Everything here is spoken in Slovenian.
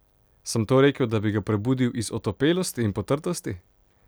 Sem to rekel, da bi ga prebudil iz otopelosti in potrtosti?